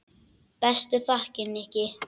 Bestu þakkir, Nikki.